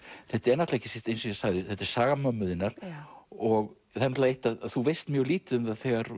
þetta er ekki síst eins og ég sagði saga mömmu þinnar og það er eitt að þú veist mjög lítið um